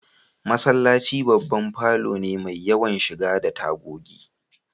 Masallaci babban falo ne mai yawan shiga da tagogi